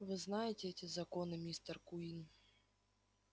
вы знаете эти законы мистер куинн